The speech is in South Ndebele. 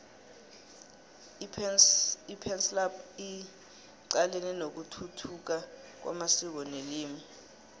ipansalp icalene nokuthuthuka kwamasiko nelimi